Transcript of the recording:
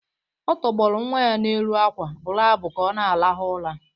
Ọ tọgbọrọ nwa ya n’elu akwa, bụrụ abụ ka ọ na-arahụ ụra